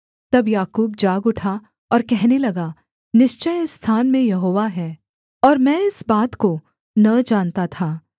तब याकूब जाग उठा और कहने लगा निश्चय इस स्थान में यहोवा है और मैं इस बात को न जानता था